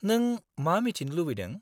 -नों मा मिथिनो लुबैदों?